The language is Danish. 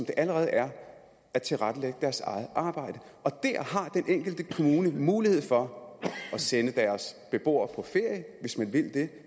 det allerede er at tilrettelægge deres eget arbejde og den enkelte kommune har mulighed for at sende deres beboere på ferie hvis man vil det